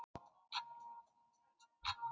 Mekkin, ferð þú með okkur á sunnudaginn?